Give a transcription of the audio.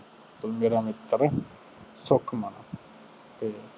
ਉਹੀ ਮੇਰਾ ਮਿੱਤਰ ਸੁਖਮਨ ਅਤੇ